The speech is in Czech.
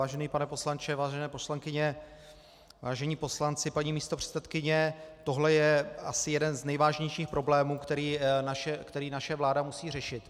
Vážený pane poslanče, vážené poslankyně, vážení poslanci, paní místopředsedkyně, tohle je asi jeden z nejvážnějších problémů, který naše vláda musí řešit.